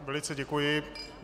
Velice děkuji.